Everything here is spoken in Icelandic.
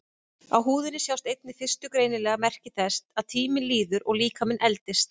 Á húðinni sjást einnig fyrstu greinanlegu merki þess að tíminn líður og líkaminn eldist.